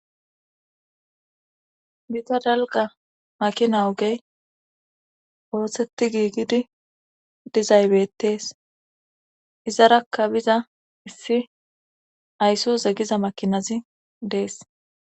bita dalga makina ogey woossetti giigidi dizaybettees izaraka biza issi ayssu zegiza makinazi dees